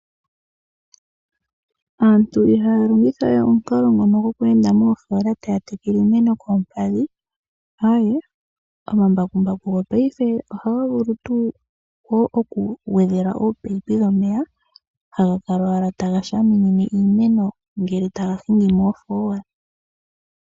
Aantu ihaya longitha we omukalo ngono gokweenda moofola taya tekele iimeno koompadhi, Aae! Omambakumbaku gopaife ohaga vulu tuu wo oku gwedhelwa oopaipi dhomeya haga kala owala taga shaminine iimeno ngele taga hingi moofola.